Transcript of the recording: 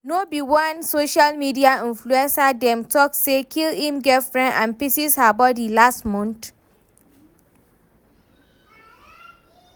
No be one social media influencer dem talk say kill im girlfiend and pieces her body last month?